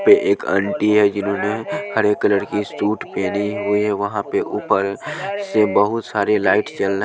यहां पे एक आंटी है जिन्होंने हरे कलर के सूट पहनी हुई है। वहां पर ऊपर से बहुत सारे लाइट जल--